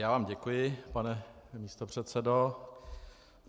Já vám děkuji, pane místopředsedo.